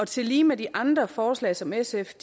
tillige med de andre forslag som sf